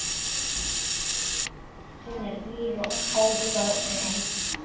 Hún er blíð og ófröm.